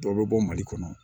Dɔw bɛ bɔ mali kɔnɔ